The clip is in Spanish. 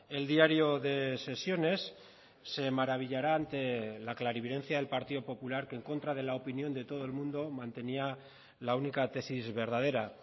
el diario de sesiones se maravillará ante la clarividencia del partido popular que en contra de la opinión de todo el mundo mantenía la única tesis verdadera